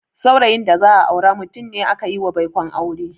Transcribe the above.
Saurayin da za a aura mutum ne akayiwa baikon aure.